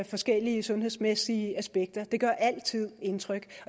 forskellige sundhedsmæssige aspekter det gør altid indtryk